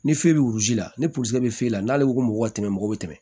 Ni fɛn bɛ la ni bɛ f'e la n'ale ko ko mɔgɔw bɛ tɛmɛ mɔgɔ bɛ tɛmɛ